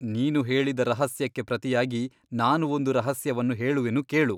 ನೀನು ಹೇಳಿದ ರಹಸ್ಯಕ್ಕೆ ಪ್ರತಿಯಾಗಿ ನಾನು ಒಂದು ರಹಸ್ಯವನ್ನು ಹೇಳುವೆನು ಕೇಳು.